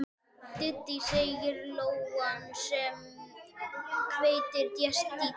Dídí, segir lóan sem hvergi sést, dídí.